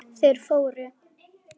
Þeir fóru.